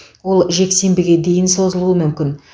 ол жексенбіге дейін созылуы мүмкін